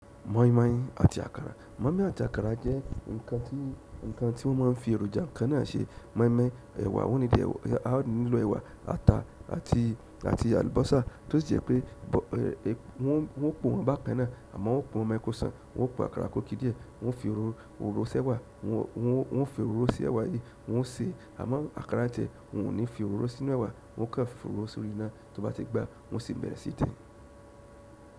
Moinmoin àti àkàrà. Moinmoin àti àkàrà jẹ́ nǹkan tí wọ́n máa ń fi èròjà kan náà ṣe. Moinmoin nílò ẹ̀wà, ata àti àlùbọ́sà tí ó jẹ́ pé wọ́n pòó wọn bákan náà àmọ́ wọ́n pòọ wọn mẹ́kú sàn wọ́n pò àkàrà kó kí díẹ̀ wọ́n fi òróró sẹ́wà wọ́n fi òróró sí ẹ̀wà yìí wọ́n ṣe àmọ́ àkàrà tẹ̀ wọ́n ò ní fi òróró sínú ẹ̀wà wọ́n kàn fi òróró sórí iná tí ó bá ti gbà wọ́n sì bẹ̀rẹ̀ sí í din.